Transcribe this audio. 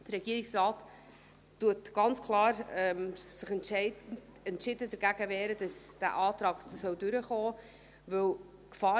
Der Regierungsrat wehrt sich entschieden dagegen, dass dieser Antrag durchkommen soll.